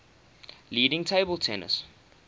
leading table tennis